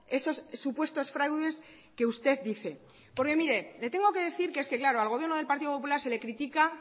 esos supuestos fraudes que usted dice porque mire le tengo que decir que es que claro al gobierno del partido popular se le critica